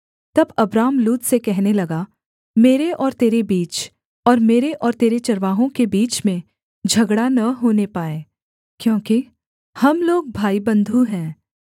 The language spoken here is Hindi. तब अब्राम लूत से कहने लगा मेरे और तेरे बीच और मेरे और तेरे चरवाहों के बीच में झगड़ा न होने पाए क्योंकि हम लोग भाईबन्धु हैं